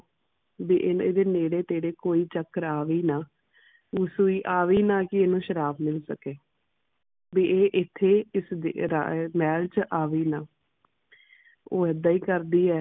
ਵੀ ਇਦੇ ਨੇੜੇ ਤੇਰੇ ਕੋਈ ਚਕ੍ਰ ਆਵੇ ਨਾ ਉਹ ਸੂਈ ਆਵੇ ਨਾ ਕੇ ਓਹਨੂੰ ਸ਼ਰਾਪ ਮਿਲ ਸਕੇ ਵੀ ਇਹ ਇਥੇ ਇਸ ਦੇ ਆਹ ਮਹਿਲ ਚ ਆਵੇ ਨਾ ਉਹ ਇਦਾ ਹੀ ਕਰਦੀ ਹੈ